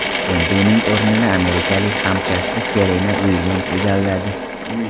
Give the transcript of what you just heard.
Endi uning o‘rnini amerikalik hamkasbi Serena Uilyams egalladi.